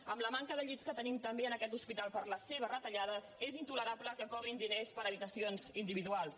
amb la manca de llits que tenim també en aquest hospital per les seves retallades és intolerable que cobrin diners per habitacions individuals